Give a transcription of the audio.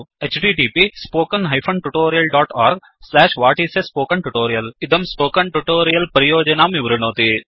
1 इदं spoken tutorial परियोजनां विवृणोति